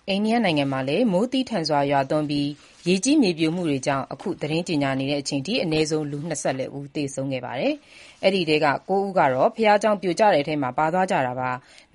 အိန္ဒိယနိုင်ငံမှာ မိုးသည်းထန်စွာရွာသွန်းပြီး ရေကြီးမြေပြိုမှုတွေကြောင့် အနည်းဆုံး လူ ၂၄ ဦး သေဆုံးခဲ့ကြောင်း တာဝန်ရှိသူတွေက ပြောပါတယ်။ ၉ ဦးကတော့ ဘုရားကျောင်းပြိုကျတဲ့အထဲမှာ ပါသွားကြတာပါ။